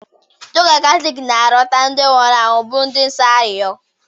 Ndị ụka Katọliki na-arịọta ndị nwụrụ anwụ bụ ndị nsọ arịrịọ